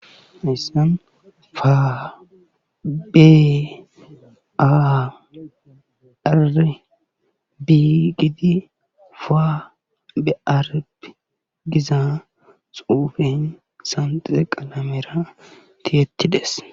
Hayssan fa bi irib gidi fa bearb gizi qalamera tiyetidees.